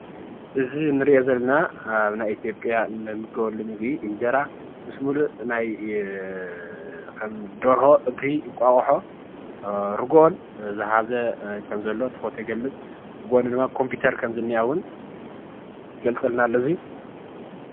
እዚ ንሪኦ ዘለና አብ ናይ ኢትዮጵያ ንምገበሉ ምግቢ እንጀራ ምስ ሙሉእ ናይ ከም ደርሆ፣ እግሪ፣ እንቋቁሖ፣ ርጉኦን ዝሓዘ ከም ዘሎ እቲ ፎቶ ይገልፅ አብ ጎኑ ኮምፒተር ከም ዝኒሃ እውን ይገልፀልና አሎ እዙይ።